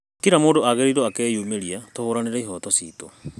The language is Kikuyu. Kila mũndũ agĩrĩrwo akeyũmĩria tuhuranĩre ihoto citu